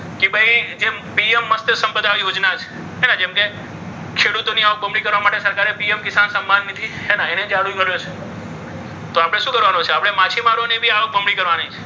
કે ભાઈ કે પીએમ મત્સ્ય સંપદા યોજના છે. એને જેમ કે ખેડૂતોની આવક બમણી કરવા માટે સરકારે પીએમ કિસાન સન્માન નિધિ છે ને એને ચાલુ કર્યું છે. તો આપણે શું કરવાનું છે? આપણે માછીમારોની આવક બમણી કરવાની છે.